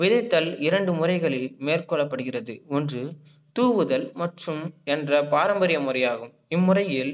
விளைத்தல் இரண்டு முறைகளில் மேற்கொள்ளப்படுகிறது. ஒன்று தூவுதல் மற்றும் என்ற பாரம்பரிய முறையாகும். இம்முறையில்